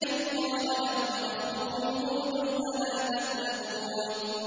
إِذْ قَالَ لَهُمْ أَخُوهُمْ هُودٌ أَلَا تَتَّقُونَ